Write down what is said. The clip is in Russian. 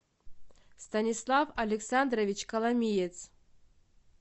станислав александрович коломиец